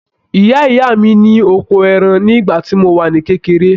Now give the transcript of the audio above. Ìyá ìyá mi ni ọkọ ẹran ni ìgbà tí mo wà ní kékeré.